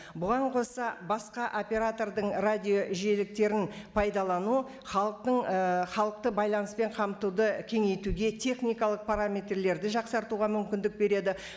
бұған қоса басқа оператордың радио жиеліктерін пайдалану халықтың ііі халықты байланыспен қамтуды кеңейтуге техникалық параметрлерді жақсартуға мүмкіндік береді